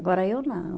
Agora eu não.